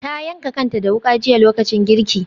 Ta yanka kanta da wuka jiya lokacin girki.